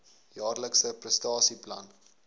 jaarlikse prestasie plan